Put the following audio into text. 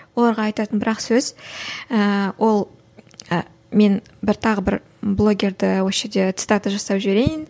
оларға айтатын бір ақ сөз ыыы ол ы мен бір тағы бір блогерді осы жерде цитата жасап жіберейін